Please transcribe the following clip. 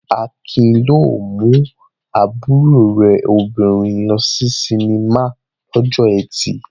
Akin yóò mú àbúrò rẹ̀ obìnrin lọ sí sinimá lọ́jọ́ ẹtì.